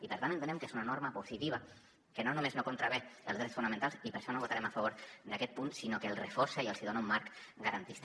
i per tant entenem que és una norma positiva que no només no contravé els drets fonamentals i per això no votarem a favor d’aquest punt sinó que els reforça i els dona un marc garantista